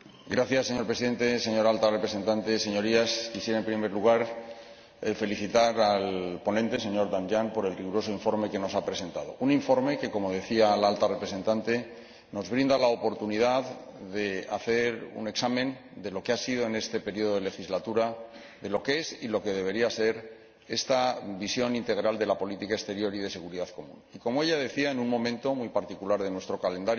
Señor Presidente, señora Alta Representante, Señorías, quisiera, en primer lugar, felicitar al ponente, el señor Danjean, por el riguroso informe que nos ha presentado un informe que, como decía la Alta Representante, nos brinda la oportunidad de hacer un examen de lo que ha sido en esta legislatura, de lo que es y de lo que debería ser esta visión integral de la política exterior y de seguridad común y, como ella decía, en un momento muy particular de nuestro calendario,